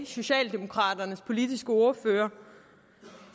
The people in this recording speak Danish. socialdemokraternes politiske ordfører